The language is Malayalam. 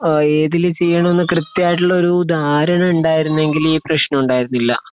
അഹ് ഏതില് ചെയ്യാനാണ് കൃത്യായിട്ട് ദാരണ ഉണ്ടായിരുന്നെകില് ഈ പ്രെശ്നം ഉണ്ടായിരുന്നില്ല